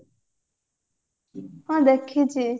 ମୁଁ ଦେଖିଚି